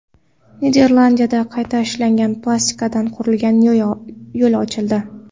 Niderlandiyada qayta ishlangan plastikdan qurilgan yo‘l ochildi.